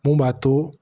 Mun b'a to